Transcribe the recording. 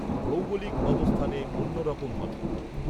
ভৗেগলিক অবস্থানে অন্য রকম হবে